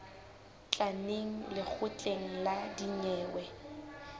tla neng lekgotleng la dinyewe